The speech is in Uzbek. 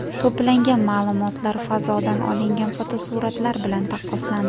To‘plangan ma’lumotlar fazodan olingan fotosuratlar bilan taqqoslandi.